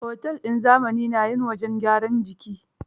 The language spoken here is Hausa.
Otel din zamani na yin wajen gyaran jiki.